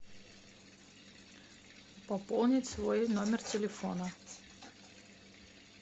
пополнить свой номер телефона